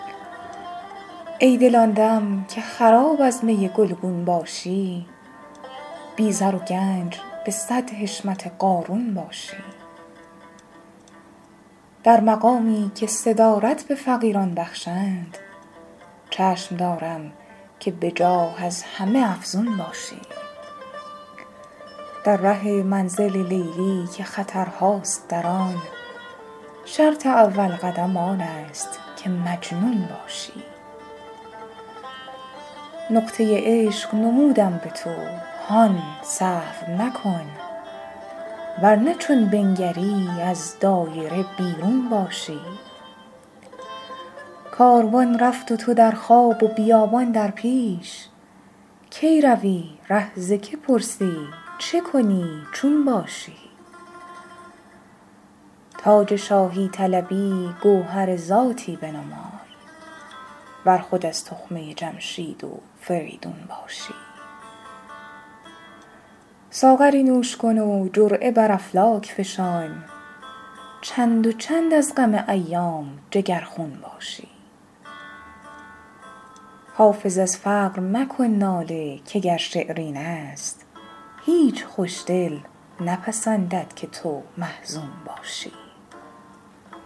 ای دل آن دم که خراب از می گلگون باشی بی زر و گنج به صد حشمت قارون باشی در مقامی که صدارت به فقیران بخشند چشم دارم که به جاه از همه افزون باشی در ره منزل لیلی که خطرهاست در آن شرط اول قدم آن است که مجنون باشی نقطه عشق نمودم به تو هان سهو مکن ور نه چون بنگری از دایره بیرون باشی کاروان رفت و تو در خواب و بیابان در پیش کی روی ره ز که پرسی چه کنی چون باشی تاج شاهی طلبی گوهر ذاتی بنمای ور خود از تخمه جمشید و فریدون باشی ساغری نوش کن و جرعه بر افلاک فشان چند و چند از غم ایام جگرخون باشی حافظ از فقر مکن ناله که گر شعر این است هیچ خوش دل نپسندد که تو محزون باشی